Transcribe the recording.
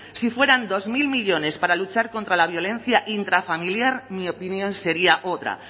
si fueran dos mil millónes para luchar contra la violencia intrafamiliar mi opinión sería otra